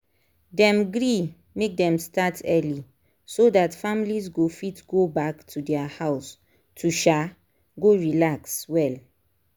dem agree make dem start early so that families go fit go back to their house to um go relax well.